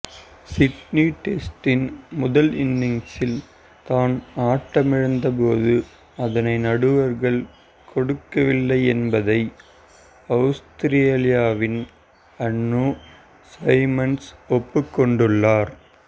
Sydney டெஸ்டின் முதல் இனிங்ஸில் தான் ஆட்டமிழந்தபோதும் அதனை நடுவர்கள் கொடுக்கவில்லை என்பதை அவுஸ்திரேலியாவின் அன்றூ சைமண்ட்ஸ் ஒப்புக் கொண்டுள்ளார்